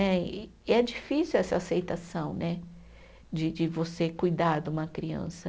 Né, e é difícil essa aceitação né, de de você cuidar de uma criança.